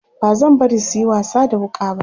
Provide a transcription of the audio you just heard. bazan bari suyi wasa da wuƙa ba